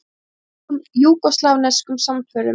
Þjóðlegum júgóslavneskum samförum.